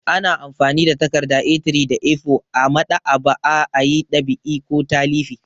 Ana amfani da takarda A3 da A4 a maɗ'aba'a a yi ɗab'i ko talifi.